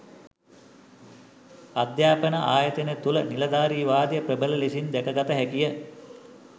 අධ්‍යාපන ආයතන තුළ නිලධාරීවාදය ප්‍රබල ලෙසින් දැකගත හැකිය